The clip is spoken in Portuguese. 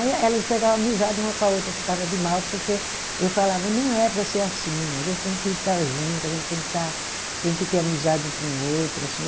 Aí elas pegava amizade uma com a outra, que estava de mal, porque eu falava, não é para ser assim, a gente tem que estar junto, a gente tem que estar, tem que ter amizade um com o outro, assim.